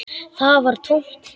Það var tómt.